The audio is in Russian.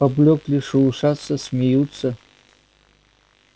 поблёкли шелушатся смеются